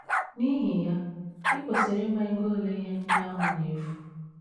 N’ihi ya, i kwesịrị ịma ego ole ihe ndị ahụ na - efu.